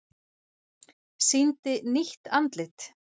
Sýndi nýtt andlit